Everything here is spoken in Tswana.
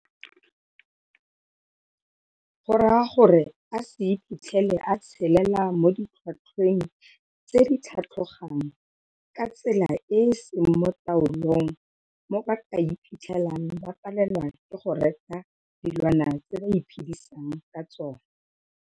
Borwa gore a se iphitlhele a tshelela mo ditlhotlhweng tse di tlhatlhogang ka tsela e e seng mo taolong mo ba ka iphitlhelang ba palelwa ke go reka dilwana tse ba iphedisang ka tsona.